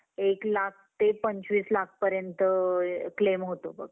एक लाख ते पंचवीस लाख पर्यंत claim होतो बघ.